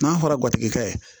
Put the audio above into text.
N'a fɔra garijɛgɛ ye